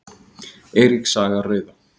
Eiríks saga rauða.